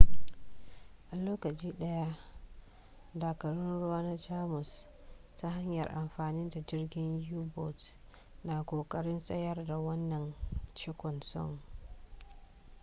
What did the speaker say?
a lokaci daya dakarun ruwa na jamus ta hanyar amfani da jirgin u-boats na kokarin tsayar da wannan cinkoson